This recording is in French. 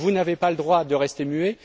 Vous n'avez pas le droit de rester muet.